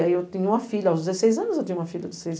Aí eu tenho uma filha, aos dezesseis anos eu tenho uma filha de seis